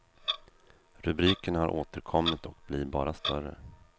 Rubrikerna har återkommit och blir bara större.